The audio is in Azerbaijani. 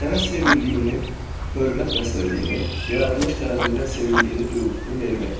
Sənə sevildiyini, hörmət bəslədiyini, yaradılış tərəfindən sevildiyini duyğusunu vermək.